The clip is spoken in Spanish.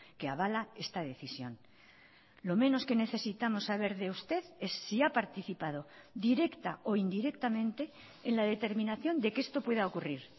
que avala esta decisión lo menos que necesitamos saber de usted es si ha participado directa o indirectamente en la determinación de que esto pueda ocurrir